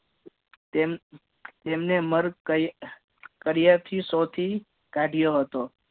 તેમ તેમને માર કર્યાથી શોધી કાઢ્યો હતો